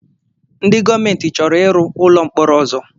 Ndị gọọmenti chọrọ iru ụlọ mkpọrọ ọzọ